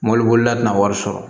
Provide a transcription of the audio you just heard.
Mɔbili bolila tina wari sɔrɔ